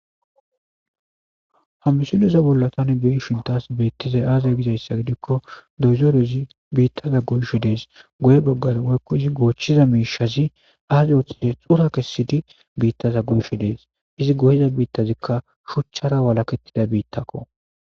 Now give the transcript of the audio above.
hamisiloza bollatan bei shintas beettizay aazaa gizayssa gidikko doyzorezi biittaza gonsho dees goye boggara woykko izi goochchiza miishazi aaza ooththizi xura kessidi biittaza gonsho dees izi goyiza biittazikka shuchchara walakettida biittakko